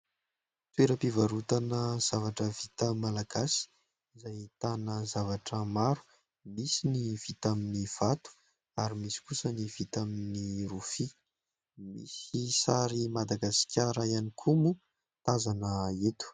Toeram-pivarotana zavatra vita malagasy izay ahitana zavatra maro : misy ny vita amin'ny vato ary misy kosa ny vita amin'ny rofia, misy sary Madagasikara ihany koa moa tazana eto.